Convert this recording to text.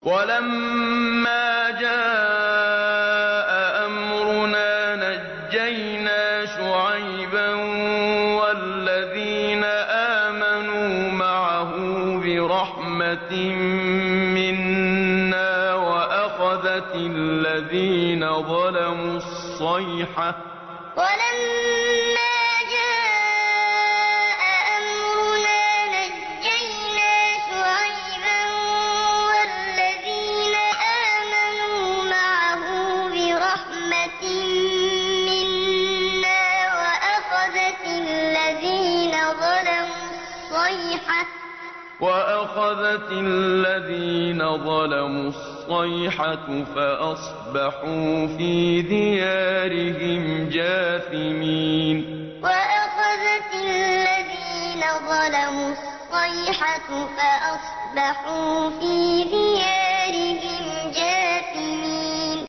وَلَمَّا جَاءَ أَمْرُنَا نَجَّيْنَا شُعَيْبًا وَالَّذِينَ آمَنُوا مَعَهُ بِرَحْمَةٍ مِّنَّا وَأَخَذَتِ الَّذِينَ ظَلَمُوا الصَّيْحَةُ فَأَصْبَحُوا فِي دِيَارِهِمْ جَاثِمِينَ وَلَمَّا جَاءَ أَمْرُنَا نَجَّيْنَا شُعَيْبًا وَالَّذِينَ آمَنُوا مَعَهُ بِرَحْمَةٍ مِّنَّا وَأَخَذَتِ الَّذِينَ ظَلَمُوا الصَّيْحَةُ فَأَصْبَحُوا فِي دِيَارِهِمْ جَاثِمِينَ